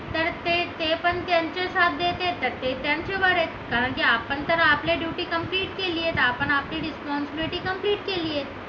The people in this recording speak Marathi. तर ते पण त्यांचेच साथ देते तर ते त्यांचे वर आहेत आपण तर आपली duty complete केली आहे आपण आपली responsibility complete केली आहे.